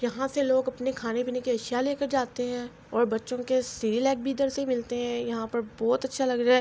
ےاحا سع لہگ اپنع کحانع پینع کع اسحیےا لعکع جاتع حای اءر باچچحہ کع سعرعلعچ بحی یدحارسع میلتع حای اءر ےاحا پر (پع) باحہت (بہت) اچچحا لگ رحا حای۔.